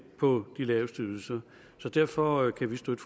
på de laveste ydelser derfor kan vi støtte